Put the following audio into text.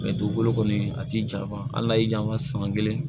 dugukolo kɔni a ti jan hali n'a y'i diya an ka san kelen